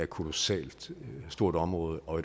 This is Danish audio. kolossalt stort område og